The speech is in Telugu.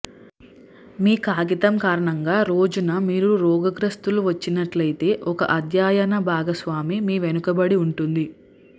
మీ కాగితం కారణంగా రోజున మీరు రోగగ్రస్తులు వచ్చినట్లయితే ఒక అధ్యయన భాగస్వామి మీ వెనుకబడి ఉంటుంది